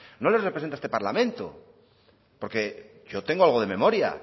no les representa este parlamento porque yo tengo algo de memoria